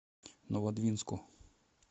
новодвинску